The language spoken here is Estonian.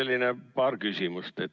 Mul on paar küsimust.